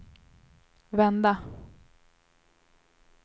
vända